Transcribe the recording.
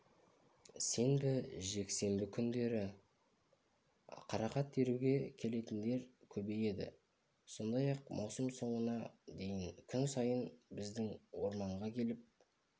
сенбі жексенбі күндері қарақат теруге келетіндер көбейеді сондай-ақ маусым соңына дейін күн сайын біздің орманға келіп